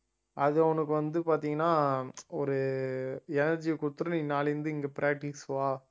அது அவனுக்கு வந்து பாத்தீங்கன்னா ஒரு energy யை குடுத்திரும் நீ நாளையிலிருந்து இங்க practice க்கு வா